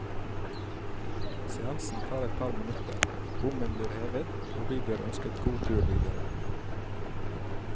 Seansen tar et par minutter, bommen blir hevet og vi blir ønsket god tur videre.